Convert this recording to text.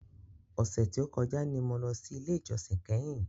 Ọ̀sẹ̀ tí o kọjá ni mo lọ sí ilé ìjósìn kẹ́hìn.